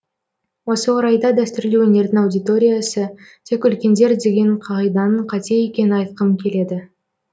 осы орайда дәстүрлі өнердің аудиотриясы тек үлкендер деген қағиданың қате екенін айтқым келеді